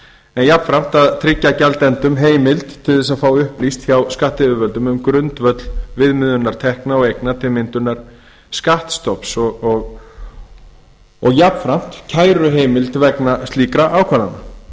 en jafnframt að tryggja gjaldendum heimild til að fá upplýst hjá skattyfirvöldum um grundvöll viðmiðunar tekna og eigna til myndunar skattstofns og jafnframt kæruheimild vegna slíkra ákvarðana